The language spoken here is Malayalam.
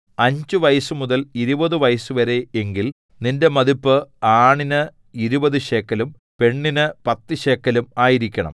അഞ്ച് വയസ്സുമുതൽ ഇരുപതു വയസ്സുവരെ എങ്കിൽ നിന്റെ മതിപ്പ് ആണിന് ഇരുപതു ശേക്കെലും പെണ്ണിന് പത്തു ശേക്കെലും ആയിരിക്കണം